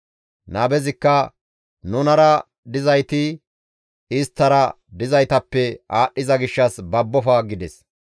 Nabezikka, «Nunara dizayti isttara dizaytappe aadhdhiza gishshas babbofa» gides.